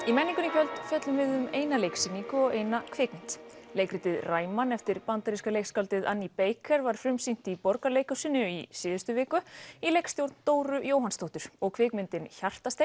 í menningunni í kvöld fjöllum við um eina leiksýningu og eina kvikmynd leikritið Ræman eftir bandaríska leikskáldið Annie Baker var frumsýnt í Borgarleikhúsinu í síðustu viku í leikstjórn Dóru Jóhannsdóttur og kvikmyndin